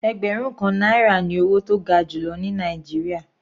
Ẹgbẹrun kan náírà ní owó tó ga jùlọ ní Nàìjíríà.